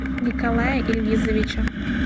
николая ильгизовича